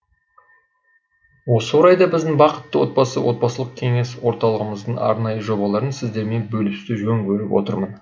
осы орайда біздің бақытты отбасы отбасылық кеңес орталығымыздың арнайы жобаларын сіздермен бөлісуді жөн көріп отырмын